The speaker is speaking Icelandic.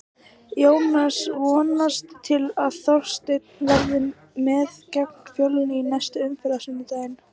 Jónas vonast til að Þorsteinn verði með gegn Fjölni í næstu umferð á sunnudaginn.